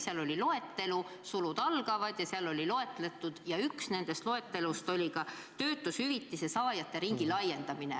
Seal oli loetelu, sulud algavad, seal oli loetelu, ja üks nendest loetelus oli töötushüvitise saajate ringi laiendamine.